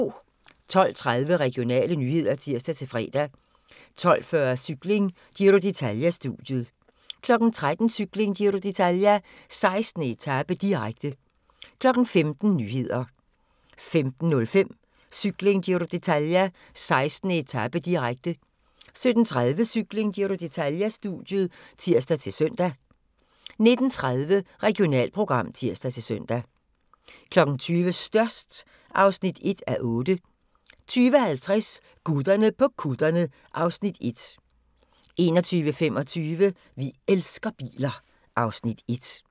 12:30: Regionale nyheder (tir-fre) 12:40: Cykling: Giro d'Italia-studiet 13:00: Cykling: Giro d'Italia - 16. etape, direkte 15:00: Nyhederne 15:05: Cykling: Giro d'Italia - 16. etape, direkte 17:30: Cykling: Giro d'Italia-studiet (tir-søn) 19:30: Regionalprogram (tir-søn) 20:00: Størst (1:8) 20:50: Gutterne på kutterne (Afs. 1) 21:25: Vi elsker biler (Afs. 1)